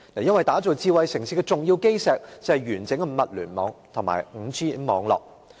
因為打造智慧城市的重要基石，就是完整的物聯網及 5G 網絡。